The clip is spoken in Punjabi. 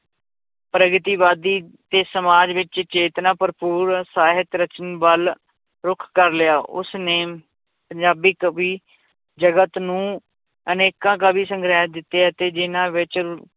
ਪ੍ਰਗਤੀਵਾਦੀ ਤੇ ਸਮਾਜ ਵਿੱਚ ਚੇਤਨਾ ਭਰਪੂਰ ਸਾਹਿਤ ਰਚਨ ਵੱਲ ਰੁੱਖ ਕਰ ਲਿਆ ਉਸਨੇ ਪੰਜਾਬੀ ਕਵੀ ਜਗਤ ਨੂੰ ਅਨੇਕਾਂ ਕਾਵਿ ਸੰਗ੍ਰਹਿ ਦਿੱਤੇ ਅਤੇ ਜਿੰਨਾਂ ਵਿੱਚ